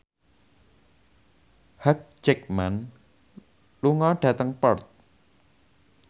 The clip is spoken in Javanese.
Hugh Jackman lunga dhateng Perth